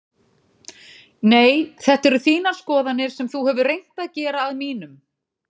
Nei þetta eru þínar skoðanir sem þú hefur reynt að gera að mínum.